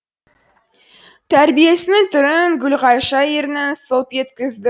тәрбиесінің түрін гүлғайша ернін сылп еткізді